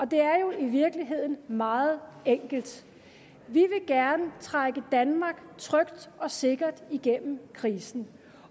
det er jo i virkeligheden meget enkelt vi vil gerne trække danmark trygt og sikkert igennem krisen